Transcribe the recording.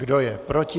Kdo je proti?